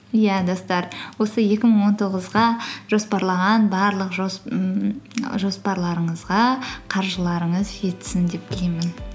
иә достар осы екі мың он тоғызға жоспарлаған барлық ммм жоспарларыңызға қаржыларыңыз жетсін деп тілеймін